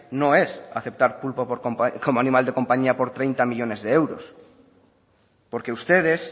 no es aceptar pulpo como animal de compañía por treinta millónes de euros porque ustedes